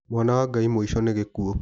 Mwana wa Ngai mũico nĩ gĩkuo.